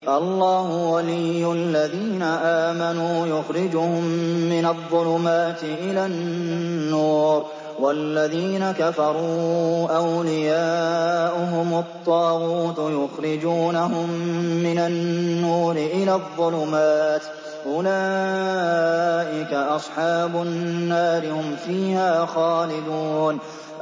اللَّهُ وَلِيُّ الَّذِينَ آمَنُوا يُخْرِجُهُم مِّنَ الظُّلُمَاتِ إِلَى النُّورِ ۖ وَالَّذِينَ كَفَرُوا أَوْلِيَاؤُهُمُ الطَّاغُوتُ يُخْرِجُونَهُم مِّنَ النُّورِ إِلَى الظُّلُمَاتِ ۗ أُولَٰئِكَ أَصْحَابُ النَّارِ ۖ هُمْ فِيهَا خَالِدُونَ